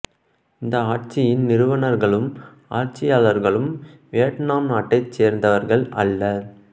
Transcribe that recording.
இந்த ஆட்சியின் நிறுவனர்களும் ஆட்சியாளர்களும் வியட்நாம் நாட்டைச் சேர்ந்தவர்கள் அல்ல